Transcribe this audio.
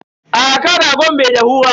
Aa kan ragon bai dahu ba.